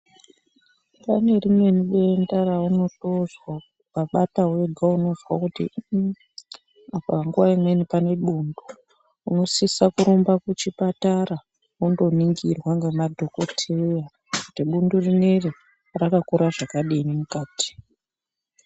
Kune rimweni denda raunotzwa ukabata wega unotozwa kuti uuu apa nguwa imweni pane bundu unosisa kurumba kuchipatara wondoningirwa ngemadhokotera kuti bundle rineri rakakura zvakadini mukati.